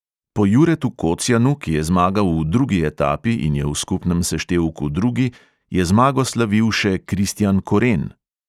Po juretu kocjanu, ki je zmagal v drugi etapi in je v skupnem seštevku drugi, je zmago slavil še kristjan koren.